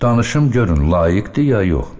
Danışım görün layiqdir, ya yox.